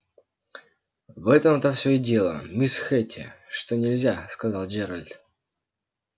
в этом-то все и дело мисс хэтти что нельзя сказал джералд